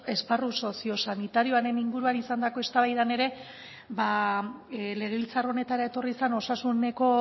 esparru sozio sanitarioaren inguruan izandako eztabaidan ere ba legebiltzar honetara etorri zen osasuneko